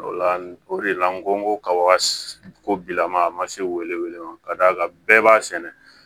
O la o de la n ko n ko kabako bi lamaka a ma se ka da kan bɛɛ b'a sɛnɛ